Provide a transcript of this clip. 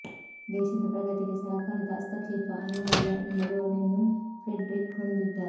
ದೇಶದ ಪ್ರಗತಿಗೆ ಸರಕಾರದ ಹಸ್ತಕ್ಷೇಪ ಅನಿವಾರ್ಯ ಎಂಬ ಧೋರಣೆಯನ್ನು ಫ್ರೆಡ್ರಿಕ್ ಹೊಂದಿದ್ದ